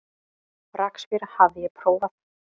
Rakspíra hafði ég prófað.